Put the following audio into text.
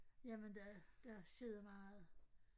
Jamen der der skete meget